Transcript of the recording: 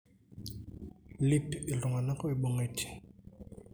Iip iltunganak oibungitae.